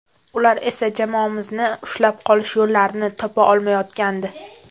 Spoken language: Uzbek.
Ular esa jamoamizni ushlab qolish yo‘llarini topa olmayotgandi.